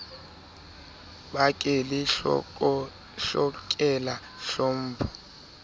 be ke le hlokela tlhompho